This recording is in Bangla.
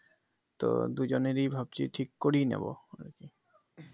তো দুজনেরই ভাবছি ঠিক করিয়ে নেবো আরকি